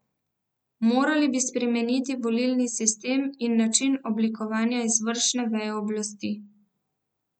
Morali bi spremeniti volilni sistem in način oblikovanja izvršne veje oblasti.